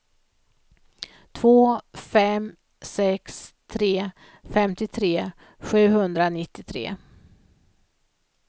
två fem sex tre femtiotre sjuhundranittiotre